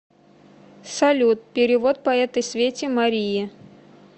салют перевод по этой свете марии